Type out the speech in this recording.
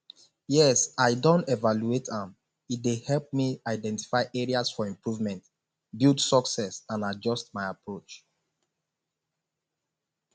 yes i don evaluate am e dey help me identify areas for improvement build success and adjust my approach